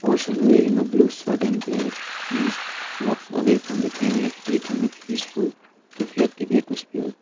person wearing a blue shirt and black pants walks away from the camera creating a peaceful reflective atmosphere.